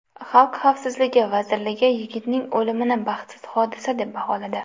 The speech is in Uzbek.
Xalq xavfsizligi vazirligi yigitning o‘limini baxtsiz hodisa deb baholadi.